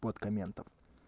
вот комментариев